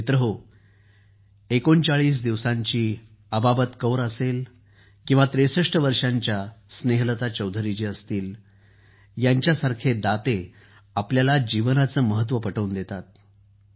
मित्रांनो ३९ दिवसांची अबाबत कौर असेल किंवा ६३ वर्षांच्या स्नेहलता चौधरी असतील यांच्यासारखे दाते आपल्याला जीवनाचे महत्त्व पटवून देतात